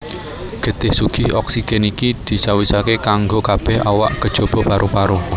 Getih sugih oksigen iki dicawisaké kanggo kabèh awak kejaba paru paru